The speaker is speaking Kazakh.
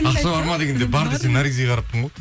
ақша бар ма дегенде бар десең наргизге қараппын ғой